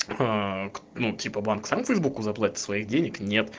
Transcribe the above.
ну типа банк санкт-петербург зарплата своих денег